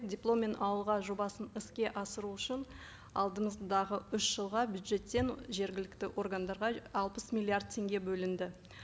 дипломмен ауылға жобасын іске асыру үшін алдымыздағы үш жылға бюджеттен жергілікті органдарға алпыс миллиард теңге бөлінді